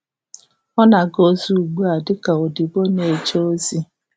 Ọ na-aga ozi ugbu a dị ka odibo na-eje ozi.